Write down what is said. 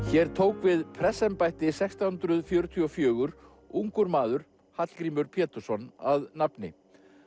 hér tók við prestsembætti sextán hundruð fjörutíu og fjögur ungur maður Hallgrímur Pétursson að nafni